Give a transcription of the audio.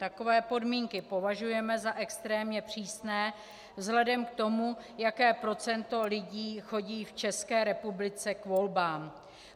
Takové podmínky považujeme za extrémně přísně vzhledem k tomu, jaké procento lidí chodí v České republice k volbám.